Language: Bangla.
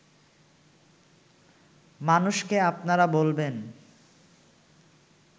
মানুষকে আপনারা বলবেন